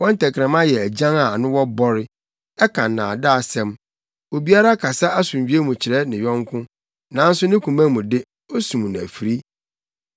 Wɔn tɛkrɛma yɛ agyan a ano wɔ bɔre; ɛka nnaadaasɛm. Obiara kasa asomdwoe mu kyerɛ ne yɔnko, nanso ne koma mu de, osum no afiri.